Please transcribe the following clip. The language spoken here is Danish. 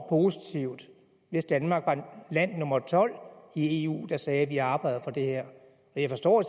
positivt hvis danmark var land nummer tolv i eu der sagde vi arbejder for det her og jeg forstår